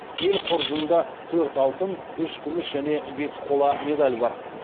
ел қоржынында төрт алтын үш күміс және бес қола медаль бар